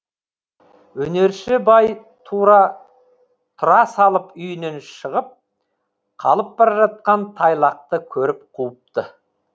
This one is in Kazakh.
өнерші бай тұра салып үйінен шығып қалып бара жатқан тайлақты көріп қуыпты